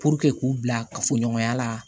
k'u bila kafoɲɔgɔnya la